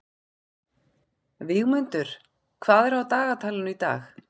Vígmundur, hvað er á dagatalinu í dag?